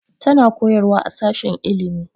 Tana koyarwa a sashen ilimi